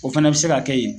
O fana bɛ se ka kɛ yen